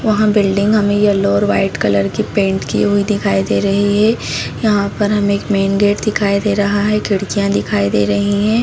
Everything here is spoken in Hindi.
वह बिल्डिंग हमें येलो और वाइट कलर की पेंट की हुई दिखाई दे रही है यहाँ पर हमें एक मेन गेट दिखाई दे रहा है खिड़कियां दिखाई दे रही है।